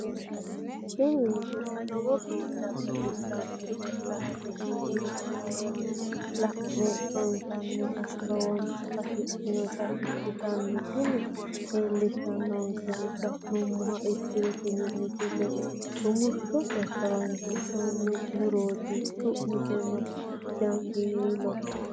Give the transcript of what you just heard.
tini misile lowo geeshsha baxissannote la"ate injiitanno woy la'ne ronsannire lowote afidhinota ikkitanna tini leellishshannonkeri la'nummoha ikkiro tini misile rumushshose horoonsi'nanni murooti su'misino jaanjiweeloho.